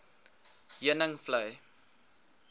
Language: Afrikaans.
heuningvlei